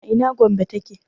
a ina Gombe ta ke?